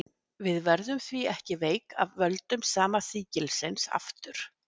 við verðum því ekki veik af völdum sama sýkilsins aftur